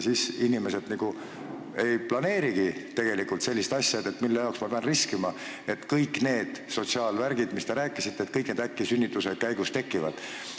Siis inimesed nagu ei planeerigi sellist asja, mõtlevad, et mille jaoks ma pean riskima, et kas kõik need sotsiaalvärgid, millest te rääkisite, äkki sünnituse käigus tekivad.